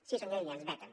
sí senyor illa ens veten